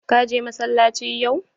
Ka je masallaci yau?